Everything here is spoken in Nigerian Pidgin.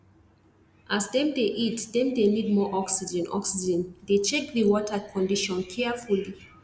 as dem dey eat dem dey need more oxygen oxygen dey check the water condition carefully